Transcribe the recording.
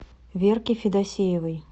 верки федосеевой